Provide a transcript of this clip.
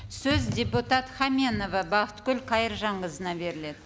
сөз депутат хаменова бақытгүл қайыржанқызына беріледі